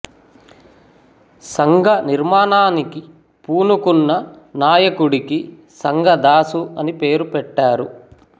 సంఘ నిర్మాణానికి పూనుకొన్న నాయకుడికి సంగ దాసు అని పేరు పెట్టారు